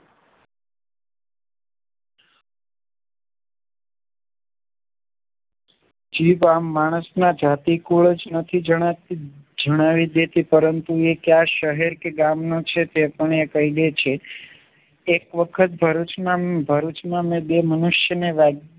જે ગામ માણસના જાતીકુળ જ નથી જણાતી જણાવી દેતી પરંતુ એ ક્યાં શહેર કે ગામ નો છે તે પણ એ કહીદે છે એક વખત ભરૂચમા ભરૂચમા બે મનુષ્યને